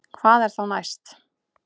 Hvað er þá næst